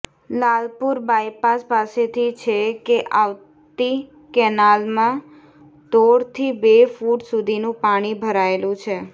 Lalpur bypass પાસેથી છે ક આવતી કેનાલમાં દોઢ થી બે ફુટ સુધીનું પાણી ભરાયેલું છે